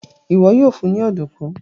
iwọ yoo fun ní Ọ̀dùnkún.